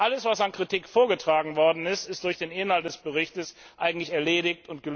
Alles, was an Kritik vorgetragen wurde, ist durch den Inhalt des Berichts eigentlich erledigt.